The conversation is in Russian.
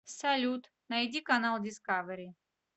салют найди канал дискавери